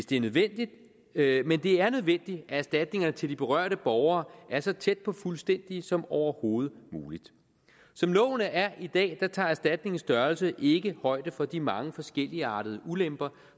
det er nødvendigt at erstatninger til de berørte borgere er så tæt på fuldstændige som overhovedet muligt som loven er i dag tager erstatningens størrelse ikke højde for de mange forskelligartede ulemper